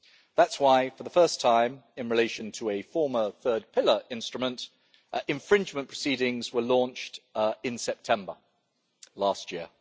That is why, for the first time in relation to a former third pillar instrument, infringement proceedings were launched in September last year.